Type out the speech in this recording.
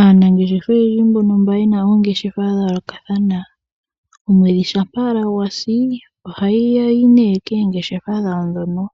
Aanangeshefa oyendji mbono mba ye na oongeshefa dha yoolokathana, omwedhi shampa owala gwa si, ohaya yi nee koongeshefa dhawo ndhono